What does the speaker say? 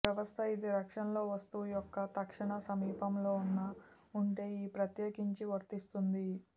వ్యవస్థ ఇది రక్షణలో వస్తువు యొక్క తక్షణ సమీపంలో ఉన్న ఉంటే ఈ ప్రత్యేకించి వర్తిస్తుంది